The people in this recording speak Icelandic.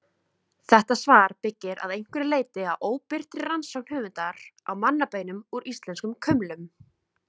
Svar þetta byggir að einhverju leyti á óbirtri rannsókn höfundar á mannabeinum úr íslenskum kumlum.